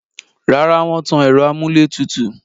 Rárá, wọ́n tan ẹ̀rọ amúlétùtù